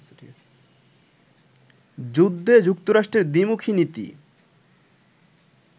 যুদ্ধে যুক্তরাষ্ট্রের দ্বিমুখী নীতি